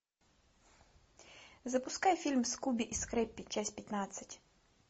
запускай фильм скуби и скрэппи часть пятнадцать